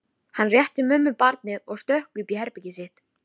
Hann rétti mömmu barnið og stökk upp í herbergið sitt.